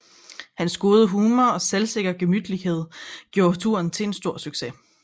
Hans gode humor og selvsikre gemytlighed gjorde turen til en stor succes